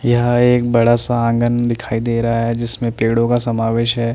यह एक बड़ा सा आँगन दिखाई दे रहा है जिसमें पेड़ो का समावेश है।